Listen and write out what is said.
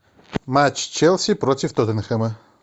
матч челси против тоттенхэма